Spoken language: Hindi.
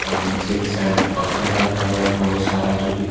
और नीचे के साइड पक्खल रखा हुआ है बहोत सारा जो की--